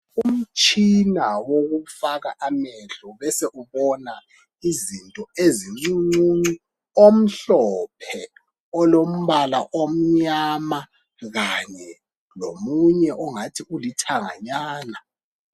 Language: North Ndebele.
Umtshina wokufaka amehlo, besekubona izinto ezincuncuncu. Omhlophe, olombala omnyama, kanye lomunye ongathi ulithanganyana.